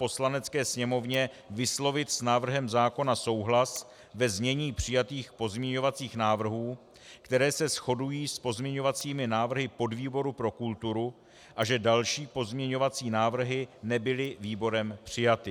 Poslanecké sněmovně vyslovit s návrhem zákona souhlas ve znění přijatých pozměňovacích návrhů, které se shodují s pozměňovacími návrhy podvýboru pro kulturu, a že další pozměňovací návrhy nebyly výborem přijaty.